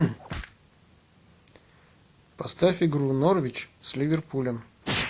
поставь игру норвич с ливерпулем